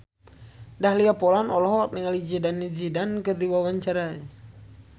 Dahlia Poland olohok ningali Zidane Zidane keur diwawancara